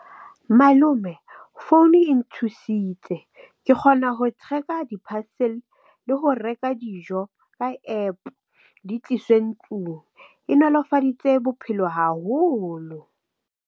Malome phone e nthusitse ke kgona ho tracker di-parcel le ho reka dijo ka APP di tliswe ntlong e nolofaditse bophelo haholo.